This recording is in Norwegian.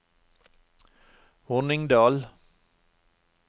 Hornindal